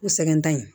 U sɛgɛn tɛ yen